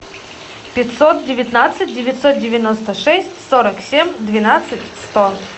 пятьсот девятнадцать девятьсот девяносто шесть сорок семь двенадцать сто